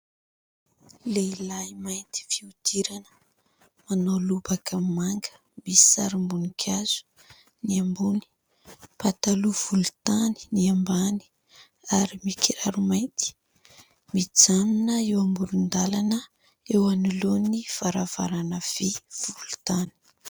Lehilahy mainty fihodirana manao lobaka manga misy sarim-boninkazo ny ambony, pataloha volontany ny ambany ary mikiraro mainty, mijanona eo amoron-dalana eo anolohan'ny varavarana vy volontany.